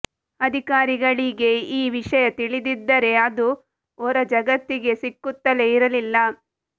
ಅಧಿಕಾರಿಗಳೀಗೆ ಈ ವಿಷಯ ತಿಳಿದಿದ್ದರೆ ಅದು ಹೊರ ಜಗತ್ತಿಗೆ ಸಿಕ್ಕುತ್ತಲೇ ಇರಲಿಲ್ಲ